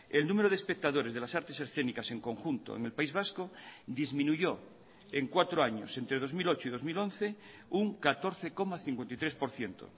el número de espectadores de las artes escénicas en conjunto en el país vasco disminuyó en cuatro años entre dos mil ocho y dos mil once un catorce coma cincuenta y tres por ciento